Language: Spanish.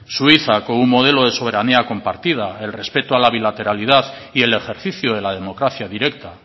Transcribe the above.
suiza con un modelo de soberanía compartida el respeto a la bilateralidad y el ejercicio de la democracia directa